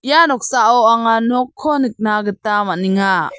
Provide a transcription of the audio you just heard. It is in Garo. ia noksao anga nokko nikna gita man·enga.